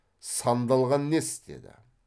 сандалған несі деді